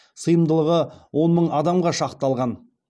сыйымдылығы он мың адамға шақталған